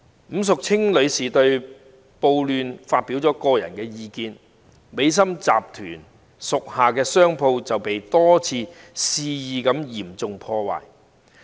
伍淑清女士在對暴亂發表個人意見後，美心集團屬下的商鋪便被多次肆意嚴重破壞。